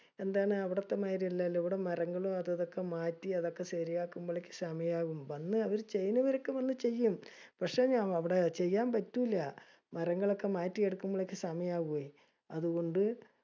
എന്താണ്, അവിടത്തെ മായിരി അല്ലാലോ. ഇവിടെ മരങ്ങളും അതുംഇതുംഒക്കെ മാറ്റി അതൊക്കെ ശെരിയാകുമ്പോളേക്കും സമയാകും. വന്ന് അവര് ചെയനവരൊക്കെ വന്ന് ചെയ്യും. പക്ഷെ ഞഅവിടെ ചെയാൻ പറ്റൂല. മരങ്ങളൊക്കെ മാറ്റി എടുക്കുമ്പോളേക്കും സമയവുമേ. അതുകൊണ്ട്